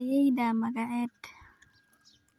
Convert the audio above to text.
Ayeeyda magaced?